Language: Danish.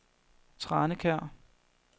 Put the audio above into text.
Tranekær